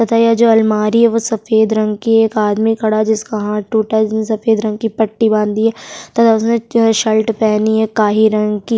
तथा यह जो अलमारी वो सफेद रंग की एक आदमी खड़ा जिसका हाथ टूटा जिसने सफेद रंग की पट्टी बाँधी है तथा उसने शर्ल्ट पहनी है काही रंग की।